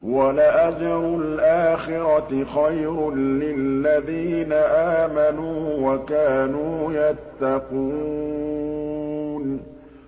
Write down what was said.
وَلَأَجْرُ الْآخِرَةِ خَيْرٌ لِّلَّذِينَ آمَنُوا وَكَانُوا يَتَّقُونَ